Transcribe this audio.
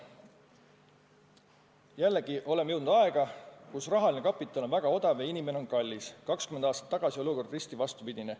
Jällegi, me oleme jõudnud aega, kus rahaline kapital on väga odav ja inimene on kallis, 20 aastat tagasi oli olukord risti vastupidine.